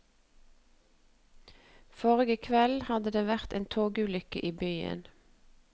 Forrige kveld hadde det vært en togulykke i byen.